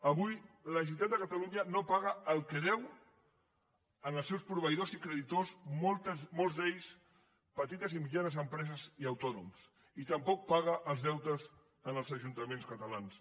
avui la generalitat de catalunya no paga el que deu als seus proveïdors i creditors molts d’ells petites i mitjanes empreses i autònoms i tampoc paga els deutes als ajuntaments catalans